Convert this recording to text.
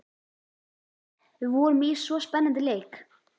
Æ, við vorum í svo spennandi leik.